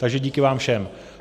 Takže díky vám všem.